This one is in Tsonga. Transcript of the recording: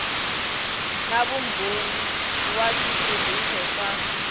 na vumbhoni wa switirhiso swa